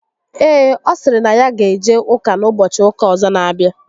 Ee, ọ sịrị na ya ga eje ụka n'ụbọchị ụka ọzọ n'abịa